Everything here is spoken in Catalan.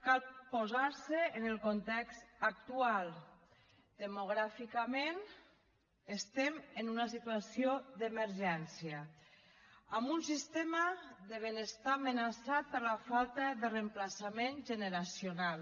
cal posar se en el context actual demogràficament estem en una situació d’emergència amb un sistema de benestar amenaçat per la falta de reemplaçament generacional